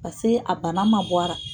Paseke a bana ma bɔ a ra.